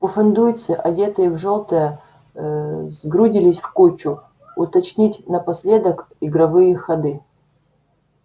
пуффендуйцы одетые в жёлтое ээ сгрудились в кучу уточнить напоследок игровые ходы